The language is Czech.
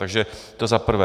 Takže to za prvé.